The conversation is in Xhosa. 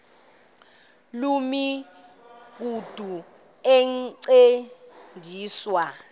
loo migudu encediswa